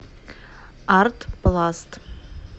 артпласт